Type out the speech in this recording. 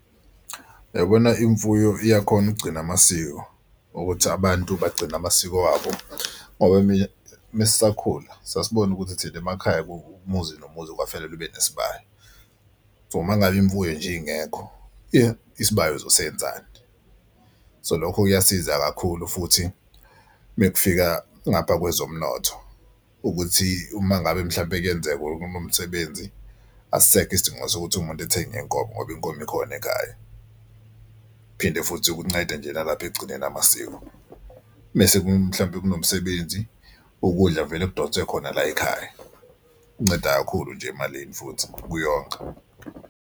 Uyabona imfuyo iyakhona ukugcina amasiko ukuthi abantu bagcina amasiko wabo ngoba mina uma sisakhula sasibona ukuthi thina emakhaya umuzi nomuzi kwafanele ube nesibaya. So uma ngabe imfuyo nje ingekho isibaya uzosenzani? So lokho kuyasiza kakhulu futhi mekufika ngapha kwezomnotho ukuthi uma ngabe mhlawumpe kuyenzeka kunomsebenzi asisekho isidingo sokuthi umuntu ethenge inkomo ngoba inkomo ikhona ekhaya. Phinde futhi kunceda nje nalapho ekugcineni amasiko mese mhlawumbe kunomsebenzi ukudla vele kudonswe khona layikhaya, kunceda kakhulu nje emalini futhi kuyonga.